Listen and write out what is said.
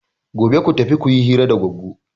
Gobe ku tafi ku yi hira da Goggo!